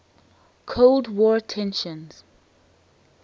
cold war tensions